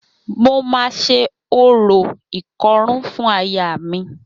Mo máa ṣe orò ìkọrún fún ayaà mi.